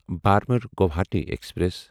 Burma Guwahati express